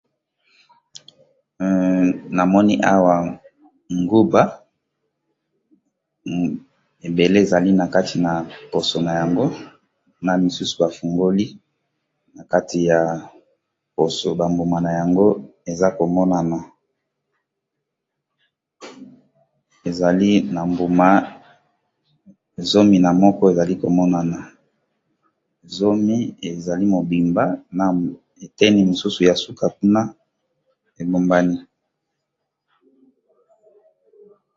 Namoni awa nguba ebele ezali na kati na poso na yango, na misusu bafungoli na kati ya poso, bambuma na yango eza komonana ezali na mbuma zomi na moko, ezali komonana zomi ezali mobimba na eteni misusu ya suka kuna ebombani.